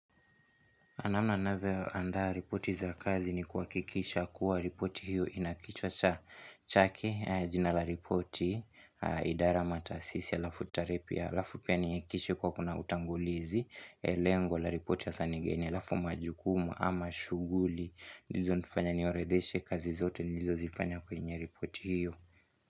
Namna ninavyoandaa ripoti za kazi ni kuhakikisha kuwa ripoti hiyo inakichwa cha chake jina la ripoti idara mataasisi alafu tarehe pia halafu pia nihakikishe kuwa kuna utangulizi lengo la ripoti ya sasa ni geni alafu majukumu ama shughuli hizo zinifanya niorodheshe kazi zote nilizozifanya kwenye ripoti hiyo.